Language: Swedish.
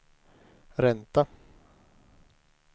ränta